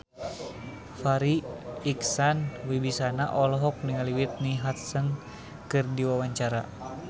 Farri Icksan Wibisana olohok ningali Whitney Houston keur diwawancara